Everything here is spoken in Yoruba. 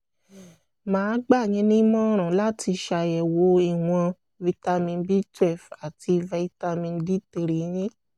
màá gbà yín nímọ̀ràn láti ṣàyẹ̀wò ìwọ̀n vitamin b twelve àti vitamin d three yín